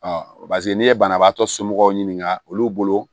pase n'i ye banabaatɔ somɔgɔw ɲininka olu bolo